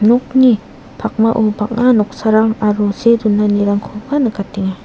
nokni pakmao bang·a noksarang aro see donanirangkoba nikatenga.